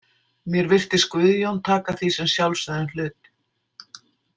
Mér virtist Guðjón taka því sem sjálfsögðum hlut.